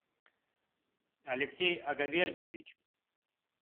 алексей агавердиевич